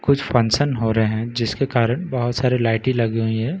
कुछ फंक्शन हो रहे हैं जिसके कारन बहुत सारे लायटे लगी हुई हैं --